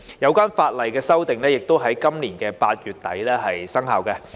有關法例修訂亦已於今年8月底生效。